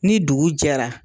Ni dugu jɛra